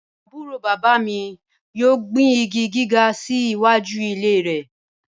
Aburo baba mi yoo gbin igi giga si iwaju ile rẹ